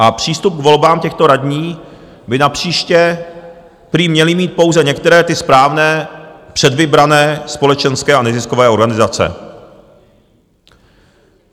A přístup k volbám těchto radních by napříště prý měly mít pouze některé, ty správné, předvybrané společenské a neziskové organizace.